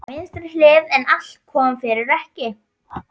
Á vinstri hlið, en allt kom fyrir ekki.